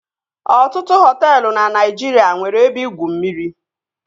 Ọtụtụ hoteelu na Naijiria nwere ebe igwu mmiri